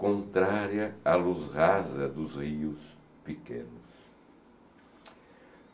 contrária a luz rasa dos rios pequenos.